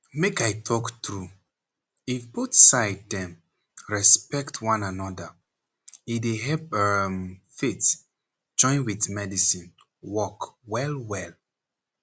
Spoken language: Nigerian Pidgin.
make i talk true if both side dem respect one anoda e dey help emm faith join with medicine work well well.